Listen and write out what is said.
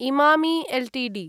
Emami Ltd